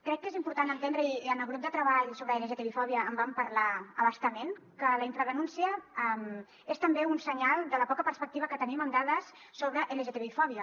crec que és important entendre i en el grup de treball sobre l’lgtbi fòbia en vam parlar a bastament que la infradenúncia és també un senyal de la poca perspectiva que tenim amb dades sobre lgtbi fòbia